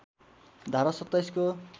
धारा २७ को